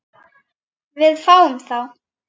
Við fáum þá